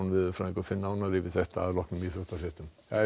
fer nánar yfir þetta strax að loknum íþróttafréttum